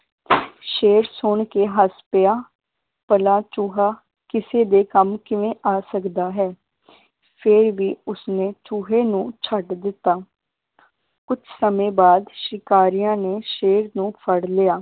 ਸ਼ੇਰ ਸੁਣ ਕੇ ਹੱਸ ਪਿਆ ਭਲਾ ਚੂਹਾ ਕਿਸੇ ਦੇ ਕੰਮ ਕਿਵੇਂ ਆ ਸਕਦਾ ਹੈ ਫੇਰ ਵੀ ਉਸਨੇ ਚੂਹੇ ਨੂੰ ਛੱਡ ਦਿੱਤਾ ਕੁਛ ਸਮੇ ਬਾਅਦ ਸ਼ਿਕਾਰੀਆਂ ਨੇ ਸ਼ੇਰ ਨੂੰ ਫੜ ਲਿਆ